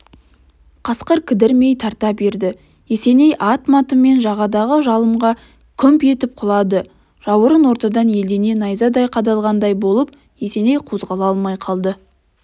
қасқыр кідірмей тарта берді есеней ат-матымен жағадағы жылымға күмп етіп құлады жауырын ортадан әлдене найзадай қадалғандай болып есеней қозғала алмай қалды